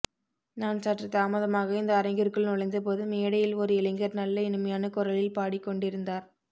நான் சற்றுத் தாமதமாக இந்த அரங்கிற்குள் நுழைந்தபோது மேடையில் ஓர் இளைஞர் நல்ல இனிமையான குரலில் பாடிக் கொண்டிருந்தார்